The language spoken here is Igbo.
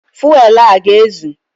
Fuelu a ọ ga-ezu?